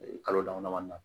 Kalo dama damani na